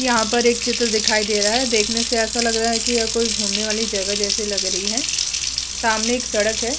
यहाँ पर एक चित्र दिखाई दे रहा है देखने से ऐसा लग रहा है की यह कोई घुमने वाली जगह जैसी लग रही है सामने एक सड़क है।